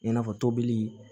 I n'a fɔ tobili